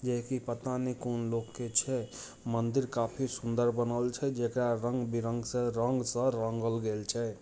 यही पता नहीं कौन लोग छह मंदिर काफी सुंदर बनो छह जे रंग बेरंग से रंग एसए रंगली गेल छह ।